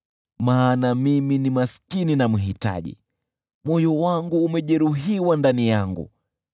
Maana mimi ni maskini na mhitaji, moyo wangu umejeruhiwa ndani yangu.